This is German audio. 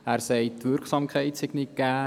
Dieser sagt, die Wirksamkeit sei nicht gegeben.